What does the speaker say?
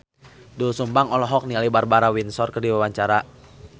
Doel Sumbang olohok ningali Barbara Windsor keur diwawancara